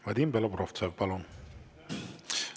Vadim Belobrovtsev, palun!